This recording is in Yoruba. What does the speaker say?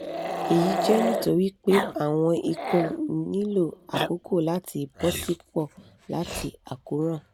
eyi jẹ nitori pe awọn ikun nilo akoko lati bọsipọ lati akoran